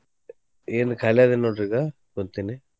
ಏನಿಲ್ಲ ಖಾಲಿ ಅದೇನ್ ನೋಡ್ರಿ ಈಗಾ ಕುಂತಿನಿ.